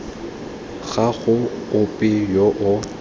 ga go ope yo o